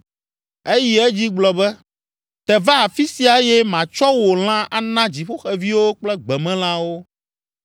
Eyi edzi gblɔ be. “Te va afi sia eye matsɔ wò lã ana dziƒoxeviwo kple gbemelãwo!”